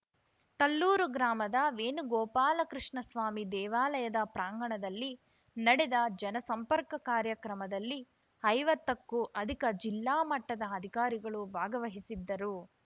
ತಲ್ಲೂರು ಗ್ರಾಮದ ವೇಣುಗೋಪಾಲಕೃಷ್ಣಸ್ವಾಮಿ ದೇವಾಲಯದ ಪ್ರಾಂಗಣದಲ್ಲಿ ನಡೆದ ಜನಸಂಪರ್ಕ ಕಾರ್ಯಕ್ರಮದಲ್ಲಿ ಐವತ್ತಕ್ಕೂ ಅಧಿಕ ಜಿಲ್ಲಾ ಮಟ್ಟದ ಅಧಿಕಾರಿಗಳು ಭಾಗವಹಿಸಿದ್ದರು